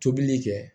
Tobili kɛ